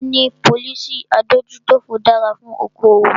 Níní policy adójútòfò dára fún okoòwò.